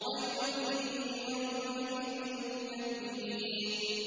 وَيْلٌ يَوْمَئِذٍ لِّلْمُكَذِّبِينَ